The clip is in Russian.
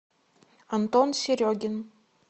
антон серегин